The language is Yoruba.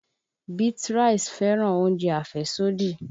Beatrice fẹ́ràn oúnjẹ àfẹ́sódì